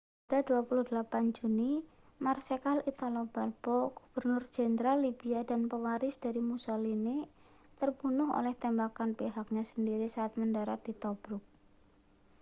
pada 28 juni marsekal italo balbo gubernur jenderal libia dan pewaris dari mussolini terbunuh oleh tembakan pihaknya sendiri saat mendarat di tobruk